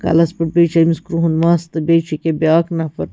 .کلس پٮ۪ٹھ بیٚیہِ چُھ أمِس کرٛہُن مَس تہٕ بیٚیہِ چُھ أکیا بیٛاکھ نفر